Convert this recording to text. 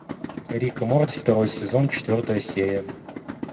рик и морти второй сезон четвертая серия